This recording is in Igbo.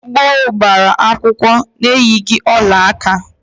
Ndị gboo gbara akwụkwọ eyighi ọlaaka